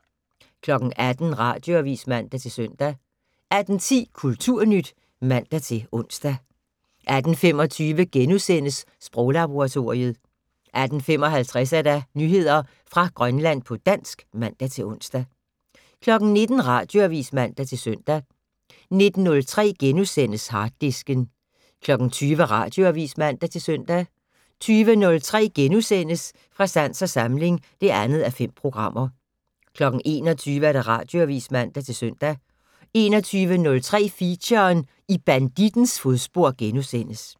18:00: Radioavis (man-søn) 18:10: Kulturnyt (man-ons) 18:25: Sproglaboratoriet * 18:55: Nyheder fra Grønland på dansk (man-ons) 19:00: Radioavis (man-søn) 19:03: Harddisken * 20:00: Radioavis (man-søn) 20:03: Fra sans og samling (2:5)* 21:00: Radioavis (man-søn) 21:03: Feature: I bandittens fodspor *